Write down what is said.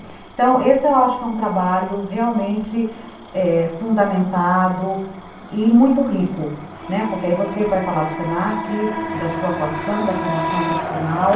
Então, esse eu acho que é um trabalho realmente, é, fundamentado e muito rico, né, porque aí você vai falar do se na que, da sua atuação, da formação profissional,